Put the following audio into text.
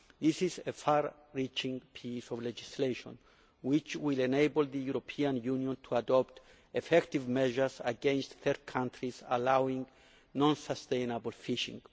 This is a far reaching piece of legislation which will enable the European Union to adopt effective measures against third countries allowing non sustainable fishing.